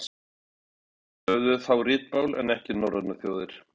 írar höfðu þá ritmál en ekki norrænar þjóðir